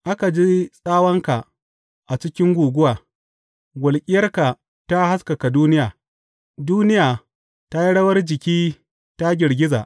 Aka ji tsawanka a cikin guguwa, walƙiyarka ta haskaka duniya; duniya ta yi rawar jiki ta girgiza.